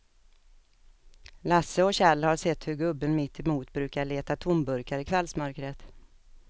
Lasse och Kjell har sett hur gubben mittemot brukar leta tomburkar i kvällsmörkret.